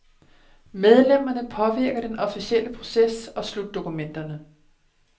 Medlemmerne påvirker den officielle proces og slutdokumenterne.